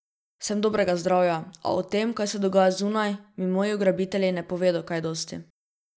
Sem dobrega zdravja, a o tem, kaj se dogaja zunaj, mi moji ugrabitelji ne povedo kaj dosti.